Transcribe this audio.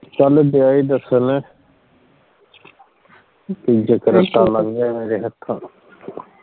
ਕਲ ਗਿਆ ਹੀ ਦੱਸਣ ਠੀਕ ਹੈ ਮੇਰੇ ਹੱਥੋਂ